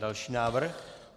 Další návrh.